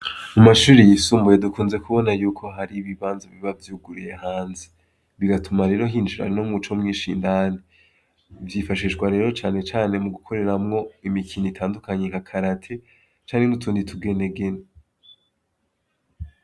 mu mashuri yisumbuye dukunze kubona yuko hari ibibanza biba vyuguruye hanze bigatuma rero hinjira no muco mwinshi indani vyifashishamwo rero cane cane mu gukoreramwo imikino itandukanye nka karate canke n'utundi tugenegene